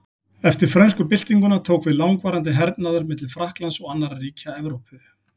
Eftir frönsku byltinguna tók við langvarandi hernaður milli Frakklands og annarra ríkja Evrópu.